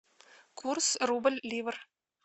курс рубль ливр